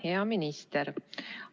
Hea minister!